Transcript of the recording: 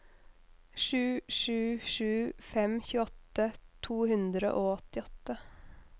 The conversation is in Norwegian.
sju sju sju fem tjueåtte to hundre og åttiåtte